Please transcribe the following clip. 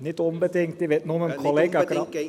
Nicht unbedingt, ich will nur ...